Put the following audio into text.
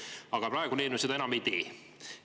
Aga praegune eelnõu seda enam ei tee.